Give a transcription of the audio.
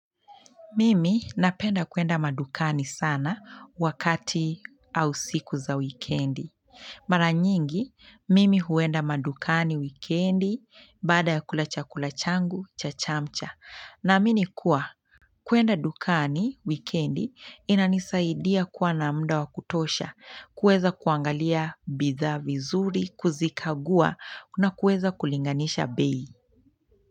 Mimi napenda kwenda madukani sana wakati au siku za wikiendi maranyingi mimi huenda madukani wikiendi baada ya kula chakula changu cha chamcha naamini kuwa kwenda dukani wikiendi inanisaidia kuwa na muda wa kutosha kuweza kuangalia bidhaa vizuri kuzikagua na kuweza kulinganisha bei.